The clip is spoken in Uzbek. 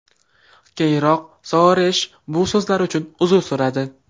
Keyinroq Soaresh bu so‘zlari uchun uzr so‘radi.